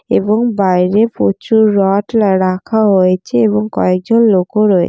এবং বাইরে প্রচুর রড রাখা হয়েছে এবং কয়েকজন লোকও রয়ে--